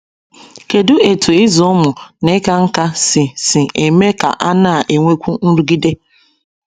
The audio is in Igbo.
Kedụ etú ịzụ ụmụ na ịka nká si si eme ka a na - enwekwu nrụgide?